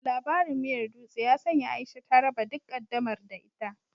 Labarin miyar dutse ya sanya Aisha ta raba duk ƙaddamar da ita.